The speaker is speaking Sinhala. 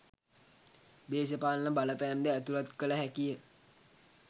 දේශපාලන බලපෑම් ද ඇතුළත් කළ හැකි ය.